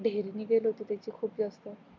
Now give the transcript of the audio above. ढेरी निघाली होती खूप जास्त